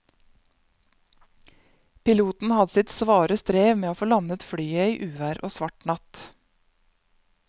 Piloten hadde sitt svare strev med å få landet flyet i uvær og svart natt.